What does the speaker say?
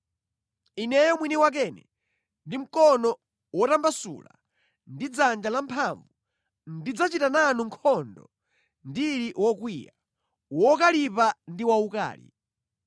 Ineyo mwini wakene ndi mkono wotambasula ndi dzanja lamphamvu, ndidzachita nanu nkhondo ndili wokwiya, wokalipa ndi waukali.